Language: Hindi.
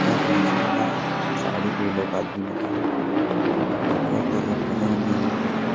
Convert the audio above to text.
पत्थर हैं जंगल हैं फू झाड़ी पे ये लोग आदमी लोग हैं ये लोग क्या कर रहा हैं पता नही हमलोग को तो--